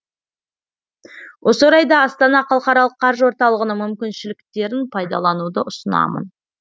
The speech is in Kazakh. осы орайда астана халықаралық қаржы орталығының мүмкіншіліктерін пайдалануды ұсынамын